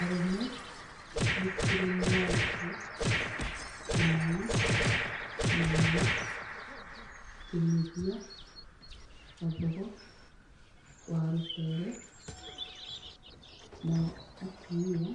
Arũme, nĩkũrĩ Mwangi, Kĩmani , Maina, Kĩnũthia, Warũtere. Nao atumia